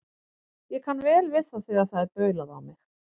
Ég kann vel við það þegar það er baulað á mig.